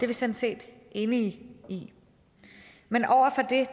vi sådan set enige i men over for det